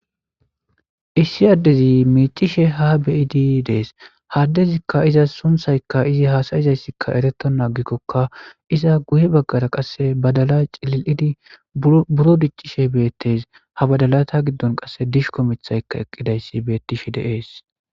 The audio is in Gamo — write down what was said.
issi addezi miicishe ha beidi dees haddezikka iza sunthaykka izi haasayizayssikka ereto naagikkokka iza guye baggara qasse badala cilil7idi buro diccishe beettes ha badalata giddon qasse dish ko mithayka eqqidayssi beettishe deees